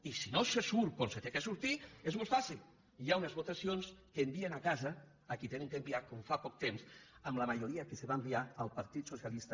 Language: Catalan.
i si no se surt com s’ha de sortir és molt fàcil hi ha unes votacions que envien a casa a qui han d’enviar com fa poc temps amb la majoria que se va enviar al partit socialista